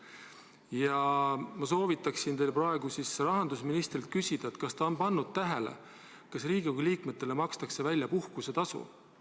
Ja ma soovitaksin teil praegu rahandusministrilt küsida, kas ta on pannud tähele, kas Riigikogu liikmetele makstakse välja puhkusetasu.